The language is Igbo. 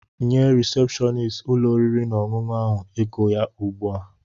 Nye risepshọnist ụlọ oriri na ọṅụṅụ ahụ ego ya ugbu a!